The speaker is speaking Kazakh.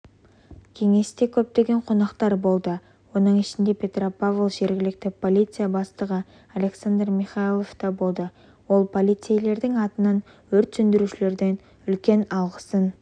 кеңесте көптеген қонақтар болды оның ішінде петропавл жергілікті полиция бастығы александр михайлов та болды ол полицейлердің атынан өрт сөндірушілерге үлкен алғысын